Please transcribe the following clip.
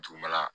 Dugumala